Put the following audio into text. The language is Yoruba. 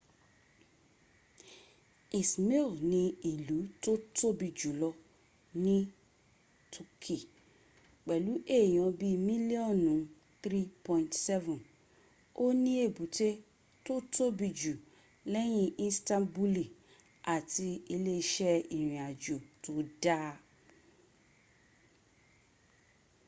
ismir ni ìlú tó tobi jùlọ ní toki pẹ̀lú èyàn bíi mílíọ́nù 3.7 o ní ebute tó tóbi jù lẹ́yìn istanbuli àti ile iṣẹ́ ìrìn àjò tó dáa